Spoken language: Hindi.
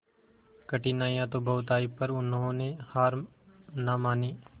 कठिनाइयां तो बहुत आई पर उन्होंने हार ना मानी